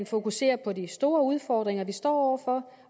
fokuserer på de store udfordringer vi står over for